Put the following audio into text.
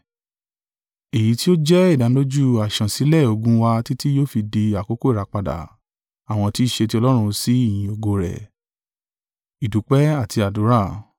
èyí tí ó jẹ́ ìdánilójú àṣansílẹ̀ ogún wa títí yóò fi di àkókò ìràpadà àwọn tí í ṣe ti Ọlọ́run sí ìyìn ògo rẹ̀.